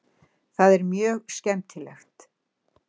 Það er mjög skemmtilegt.